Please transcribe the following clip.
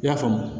I y'a faamu